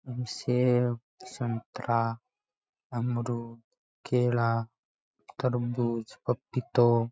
सेव संतरा अमरुद केला तरबूज पपीता --